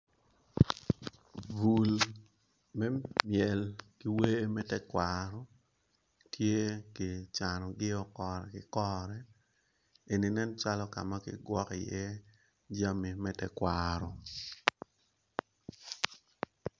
Bul me mel ki wer me tekwaro tye ki cano gio kore ki kore eni nen calo ka ma kigwoko iye jami me tekwaro.